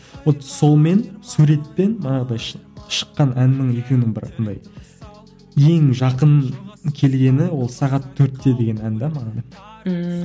вот сонымен суретпен манағыдай шыққан әннің екеуінің бір андай ең жақын келгені ол сағат төртте деген ән де маған ммм